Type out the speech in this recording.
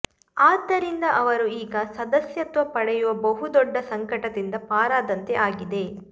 ಆದ್ದರಿಂದ ಅವರು ಈಗ ಸದಸ್ಯತ್ವ ಪಡೆಯುವ ಬಹು ದೊಡ್ಡ ಸಂಕಟದಿಂದ ಪಾರಾದಂತೆ ಆಗಿದೆ